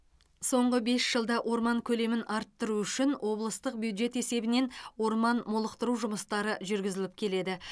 соңғы бес жылда орман көлемін арттыру үшін облыстық бюджет есебінен орман молықтыру жұмыстары жүргізіліп келеді